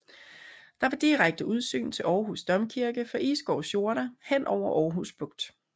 Der var direkte udsyn til Aarhus Domkirke fra Isgårds jorder hen over Aarhus Bugt